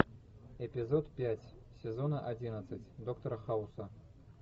эпизод пять сезона одиннадцать доктора хауса